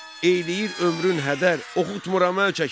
Eyləyir ömrün hədər, oxutmuram əl çəkin!